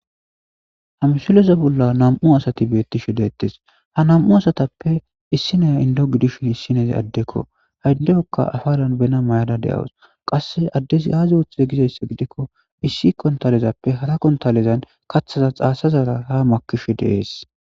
Ha misuleza bolla nam7u asati beettishe deettes ha nam7u asatappe issi naya indo gidishin issineze addekko hayddeokka afadan bena may7ada deawus qasse addes aaze woththie gizayssa gidikko issi kontalezappe hara kontalezan kathaza xaasazala ha makishe deees.